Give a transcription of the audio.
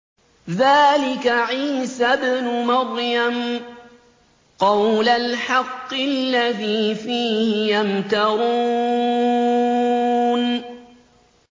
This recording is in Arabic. ذَٰلِكَ عِيسَى ابْنُ مَرْيَمَ ۚ قَوْلَ الْحَقِّ الَّذِي فِيهِ يَمْتَرُونَ